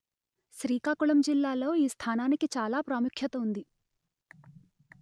శ్రీకాకుళం జిల్లాలో ఈ స్థానానికి చాలా ప్రాముఖ్యత ఉంది